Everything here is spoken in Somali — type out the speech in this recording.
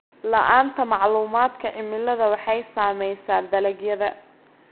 La'aanta macluumaadka cimilada waxay saamaysaa dalagyada.